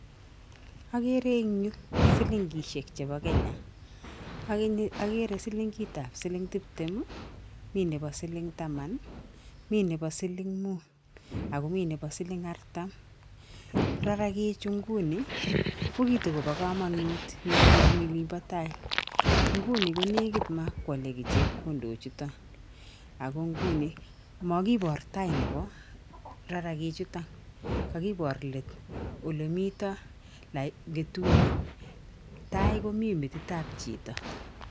Ageere eng nyu silingisiek chebo Kenya, ak eng nyu ageere silingitab silingtuptem, mi nebo siling taman, mi nebo siling muut ako mi nebo siling artam. Rarakichi nguni ko kitokopo kamanut eng olimpo tai nguni konekit makwale kei chepkondok chuto ako nguni makipoor tai nebo rarakichuto, kakipoor leet olimito ngetunyik, tai komito metitab chito.